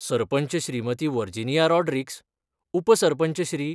Sarpanch Shrimati Virginia Rodrigues, उपसरपंच श्री.